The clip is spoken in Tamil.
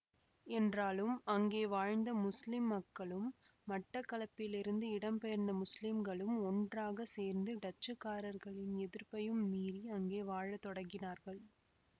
என்றாலும் அங்கே வாழ்ந்த முஸ்லிம் மக்களும் மட்டக்களப்பிலிருந்து இடம்பெயர்ந்த முஸ்லிம்களும் ஒன்றாக சேர்ந்து டச்சுக்காரர்களின் எதிர்ப்பையும் மீறி அங்கே வாழத்தொடங்கினார்கள்